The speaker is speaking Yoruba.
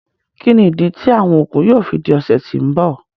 Kíni idí tí awọn oogun yóò fí dí ọsẹ tí n bọ?